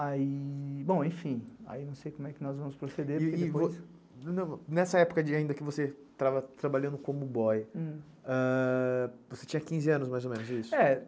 Aí, bom, enfim, aí não sei como é que nós vamos proceder, porque depois... Nessa época ainda que você estava trabalhando como boy, você tinha quinze anos, mais ou menos, isso?